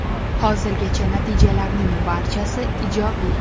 Hozirgacha natijalarning barchasi ijobiy.